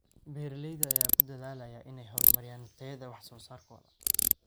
Beeralayda ayaa ku dadaalaya in ay horumariyaan tayada wax soo saarkooda.